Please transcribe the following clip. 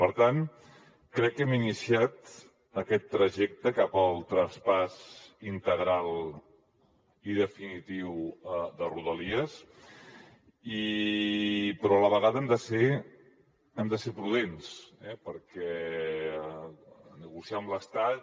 per tant crec que hem iniciat aquest trajecte cap al traspàs integral i definitiu de rodalies però a la vegada hem de ser prudents perquè negociar amb l’estat